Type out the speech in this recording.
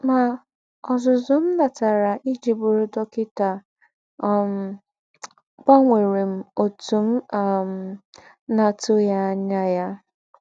Mà, ọ́zùzù m̀ nátàrà íjí bụrụ̀ dọ́kịtà um gbànwèrè m ótù m̀ um ná-àtùghí ànyà ya.